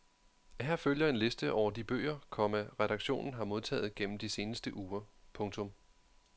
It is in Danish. Her følger en liste over de bøger, komma redaktionen har modtaget gennem de seneste uger. punktum